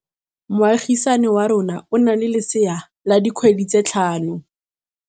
Moagisane wa rona o na le lesea la dikgwedi tse tlhano.